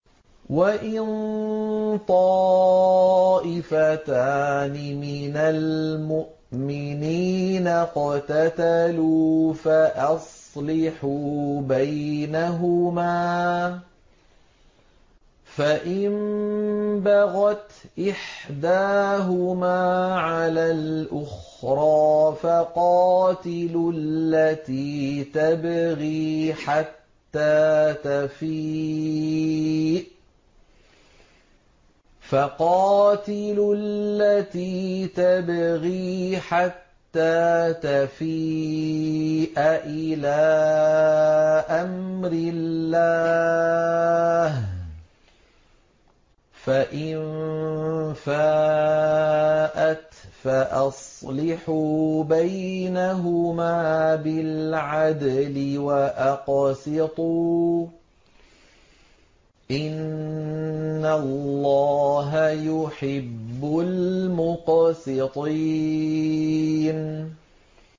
وَإِن طَائِفَتَانِ مِنَ الْمُؤْمِنِينَ اقْتَتَلُوا فَأَصْلِحُوا بَيْنَهُمَا ۖ فَإِن بَغَتْ إِحْدَاهُمَا عَلَى الْأُخْرَىٰ فَقَاتِلُوا الَّتِي تَبْغِي حَتَّىٰ تَفِيءَ إِلَىٰ أَمْرِ اللَّهِ ۚ فَإِن فَاءَتْ فَأَصْلِحُوا بَيْنَهُمَا بِالْعَدْلِ وَأَقْسِطُوا ۖ إِنَّ اللَّهَ يُحِبُّ الْمُقْسِطِينَ